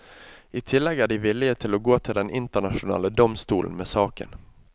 I tillegg er de villige til å gå til den internasjonale domstolen med saken.